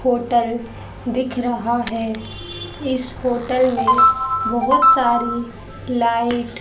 hotel दिख रहा है इस होटल में बहुत सारी लाइट --